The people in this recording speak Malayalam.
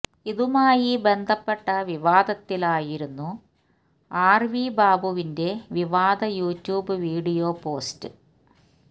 ഇതുമായി ബന്ധപ്പെട്ട വിവാദത്തിലായിരുന്നു ആർ വി ബാബുവിന്റെ വിവാദ യൂടൂബ് വീഡിയോ പോസ്റ്റ്